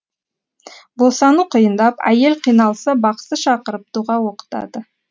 босану қиындап әйел қиналса бақсы шақырып дұға оқытады